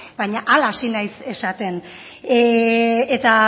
baina hala hasi naiz esaten eta